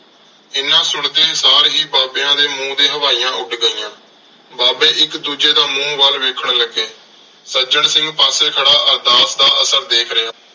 ਐਨਾ ਸੁਣਦੇ ਸਾਰ ਹੀ ਬਾਬਿਆਂ ਦੇ ਮੂੰਹ ਤੇ ਹਵਾਈਆਂ ਉੱਡ ਗਈਆਂ। ਬਾਬੇ ਇੱਕ ਦੂਜੇ ਦਾ ਮੂੰਹ ਵੱਲ ਵੇਖਣ ਲੱਗੇ। ਸੱਜਣ ਸਿੰਘ ਪਾਸੇ ਖੜ੍ਹਾ ਅਰਦਾਸ ਦਾ ਅਸਰ ਦੇਖ ਰਿਹਾ ਸੀ।